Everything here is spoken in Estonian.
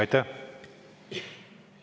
Aitäh!